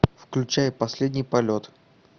включай последний полет